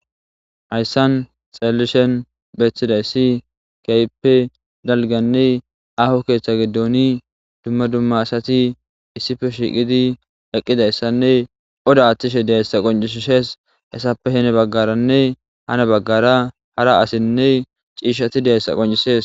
hayssan xeellishen beththiday ssi keyppe dalganne aho keeththa gidooni dumma dumma asati issife shiiqidi eqqidayssanne oda aththishe dehessa qoncisisees hessappe hene baggaranne hana baggara hara asinne ciishshati dehessa qoncisees